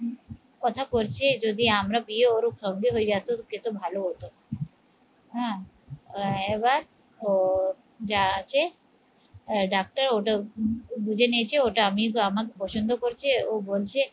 কথা করছে যদি আমরা বিয়ে ওর সঙ্গে হয়ে যেত, ভালো হোত হ্যাঁ এবার তো যা আছে ডাক্তার ওটা বুঝে নিয়েছে ওটা আমি আমাকে পছন্দ করছে ও বলছে